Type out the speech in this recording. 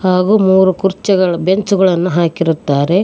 ಹಾಗೂ ಮೂರು ಕುರ್ಚಿಗಳು ಬೆಂಚುಗಳನ್ನು ಹಾಕಿರುತ್ತಾರೆ.